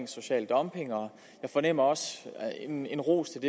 social dumping og jeg fornemmer også en en ros